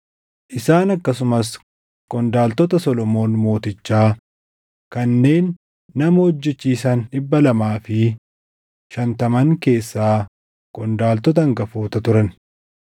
Isaan akkasumas qondaaltota Solomoon Mootichaa kanneen nama hojjechiisan dhibba lamaa fi shantaman keessaa qondaaltota hangafoota turan.